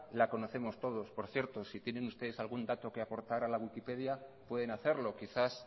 la conocemos todos por cierto si tienen usted algún dato que aportar a la wikipedia pueden hacerlo quizás